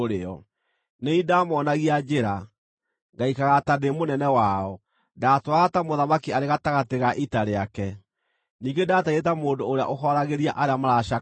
Nĩ niĩ ndamoonagia njĩra, ngaikaraga ta ndĩ mũnene wao; ndatũũraga ta mũthamaki arĩ gatagatĩ ga ita rĩake; ningĩ ndaatariĩ ta mũndũ ũrĩa ũhooragĩria arĩa maracakaya.